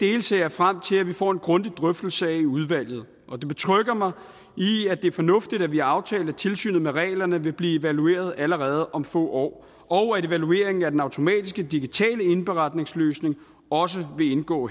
dele ser jeg frem til at vi får en grundig drøftelse af i udvalget og det betrygger mig i at det er fornuftigt at vi har aftalt at tilsynet med reglerne vil blive evalueret allerede om få år og at evalueringen af den automatiske digitale indberetningsløsning også vil indgå